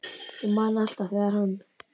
Ég man alltaf þegar hann